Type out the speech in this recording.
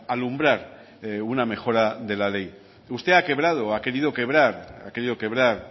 alumbrar una mejora de la ley usted ha quebrado ha querido quebrar